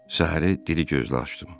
Səhəri diri gözlü açdım.